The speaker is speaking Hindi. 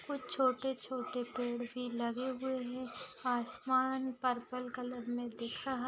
कुछ छोटे-छोटे पेड़ भी लगे हुए है आसमान पर्पल कलर में दिख रहा--